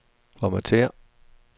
formatér